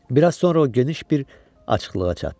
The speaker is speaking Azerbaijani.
Biraz sonra o geniş bir açıqlığa çatdı.